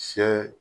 Sɛ